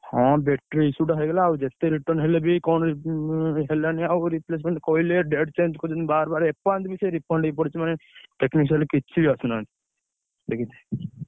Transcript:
ହଁ, battery issue ଟା ହେଇଗଲା ଆଉ ଯେତେ return ହେଲେ ବି କଣ ଉଁ ହେଲାନି ଆଉ replacement କହିଲେ date change କରୁଛନ୍ତି ବାରବାର। ଏପର୍ଯ୍ୟନ୍ତ ବି ସେ ହେଇ ପଡିଛି ମାନେ, କିଛି ବି ଆସୁନାହାନ୍ତି।